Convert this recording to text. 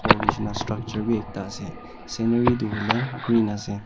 Ghor neshna structure beh ekta ase scenery tu hoile green ase.